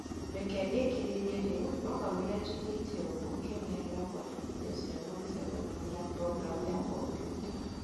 reke ndĩkĩrĩrie rĩu, no kamũira njĩkĩte ũguo kenerera kũandĩkithie ciana mïcemanioinĩ ya programu ya kombiuta